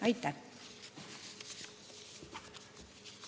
Aitäh!